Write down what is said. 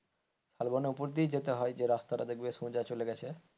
শালবন এর উপর দিয়ে যেতে হয় যে রাস্তাটা দেখবে সোজা চলে গেছে।